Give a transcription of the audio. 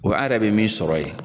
O bɛ an yɛrɛ bɛ min sɔrɔ ye